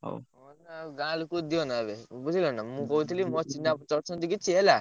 ଆଉ ଗାଁ ଲୋକଙ୍କୁ ଦିଅନା ଏବେ ବୁଝିଲ ନାଁ ମୁଁ କହୁଥିଲି ମୋର ଚିହ୍ନାପରିଚୟ ଅଛନ୍ତି କିଛି ହେଲା।